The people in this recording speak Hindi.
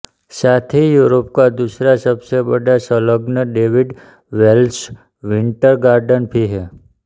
साथ ही यूरोप का दूसरा सबसे बड़ा संलग्न डेविड वेल्च विंटर गार्डन भी है